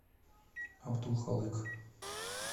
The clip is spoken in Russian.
абдулхалык